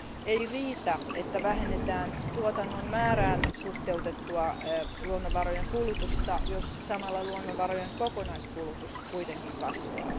Ei riitä, että vähennetään tuotannon määrään suhteutettua luonnonvarojen kulutusta, jos samalla luonnonvarojen kokonaiskulutus kuitenkin kasvaa.